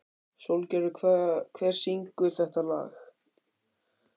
Sólgerður, hver syngur þetta lag?